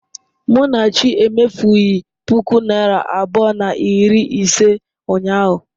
Munachi emefughị ​​puku naịra abụọ na iri ise ụnyahụ.